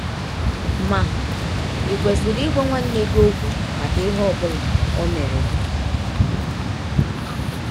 Ma ì kwesịrị ịgwa nwanne gị ọkwụ maka ihe ọ bụla ọ mere gị?